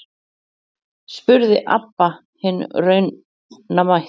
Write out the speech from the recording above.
spurði Abba hin raunamædd.